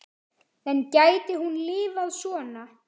En gæti hún lifað svona?